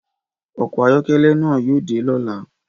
Ọkọ ayọkẹlẹ na yóò dé lọla